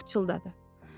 O pıçıldadı.